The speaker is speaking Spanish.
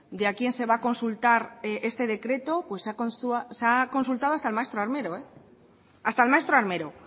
de a quién se va a consultar este decreto pues se ha consultado hasta al maestro armero